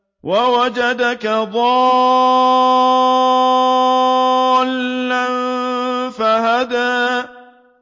وَوَجَدَكَ ضَالًّا فَهَدَىٰ